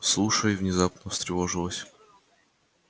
слушай внезапно встревожилась